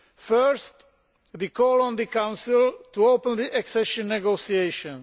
First, we call on the Council to open the accession negotiations.